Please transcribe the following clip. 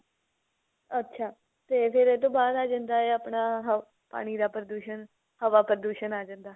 ਅੱਛਾ ਤੇ ਫਿਰ ਇਹ ਤੋਂ ਬਾਅਦ ਆ ਜਾਂਦਾ ਆਪਣਾ ਪਾਣੀ ਦਾ ਪ੍ਰਦੂਸ਼ਨ ਹਵਾ ਪ੍ਰਦੂਸ਼ਨ ਆ ਜਾਂਦਾ